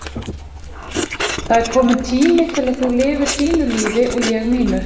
Það er kominn tími til að þú lifir þínu lífi og ég mínu.